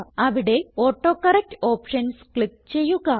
അവിടെ autocorrect options click ചെയ്യുക